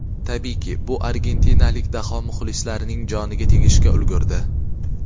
Tabiiyki, bu argentinalik daho muxlislarining joniga tegishga ulgurdi.